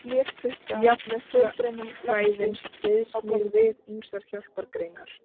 Jarðfræðin styðst mjög við ýmsar hjálpargreinar.